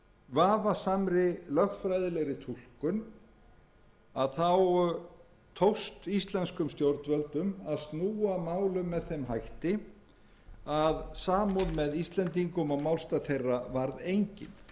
vafasamri lögfræðilegri túlkun tókst íslenskum stjórnvöldum að snúa málum með þeim hætti að samúð með íslendingum og málstað þeirra varð engin